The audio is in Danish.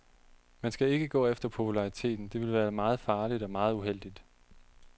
Man skal ikke gå efter populariteten, det ville være meget farligt og meget uheldigt.